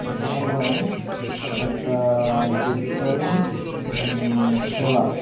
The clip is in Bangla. এটা হলো একটা আ ডিজিটাল মান সেবা।